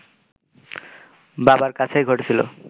বাবার কাছেই ঘটেছিল